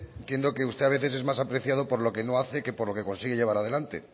entiendo que usted a veces es más apreciado por lo que no hace que por lo que consigue llevar adelante